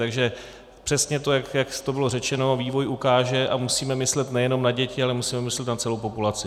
Takže přesně to, jak to bylo řečeno, vývoj ukáže, a musíme myslet nejenom na děti, ale musíme myslet na celou populaci.